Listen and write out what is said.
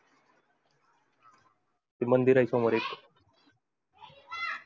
ते मंदिर आहे समोर एक